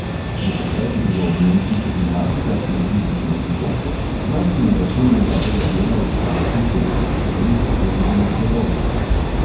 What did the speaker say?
Že takrat je bilo o njem slišati marsikakšno kritično pripombo, zlasti na račun njegovega dela v času, ko je bil slovenski konzul v celovcu.